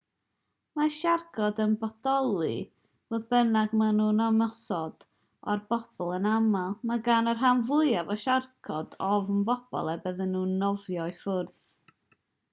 mae siarcod yn bodoli fodd bynnag maen nhw'n ymosod ar bobl yn anaml mae gan y rhan fwyaf o siarcod ofn pobl a bydden nhw'n nofio i ffwrdd